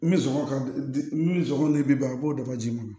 N bɛ songɔ ka di ni sɔngɔ ye bi ban a b'o daba ji ma